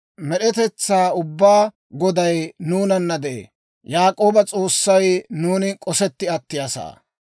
Med'etetsaa Ubbaa Goday nuunanna de'ee; Yaak'ooba s'oossay nuuni k'osetti attiyaa sa'aa.